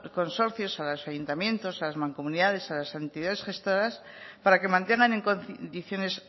consorcios a los ayuntamientos a las mancomunidades a las entidades gestoras para que mantengan en condiciones